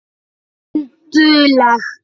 En dugleg.